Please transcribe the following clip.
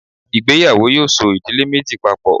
ìgbéyàwò! yoo so idile Meji papo.